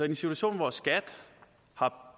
en situation hvor skat har